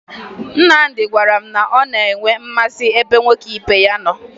Nnamdị gwara m na ọ na-enwe mmasị ebe nwoke ibe ya nọ